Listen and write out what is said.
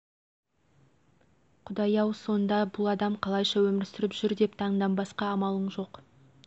құдай ау сонда бұл адам қалайша өмір сүріп жүр деп таңданбасқа амалың жоқ